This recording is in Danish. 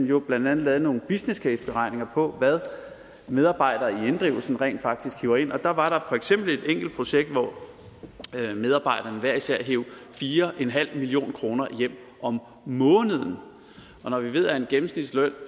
jo blandt andet lavede nogle businesscaseberegninger på hvad medarbejdere i inddrivelsen rent faktisk hiver ind der var der for eksempel et enkelt projekt hvor medarbejderne hver især hev fire million kroner hjem om måneden når vi ved at en gennemsnitsløn